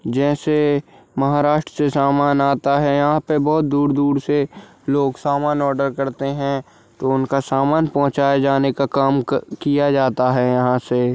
जैसे महाराष्ट्र से सामान आता है यहाँ पे बहुत दूर-दूर से लोग सामान आर्डर करते हैं तो उनका सामान पहुँचाए जाने का काम क किया जाता है यहाँ से।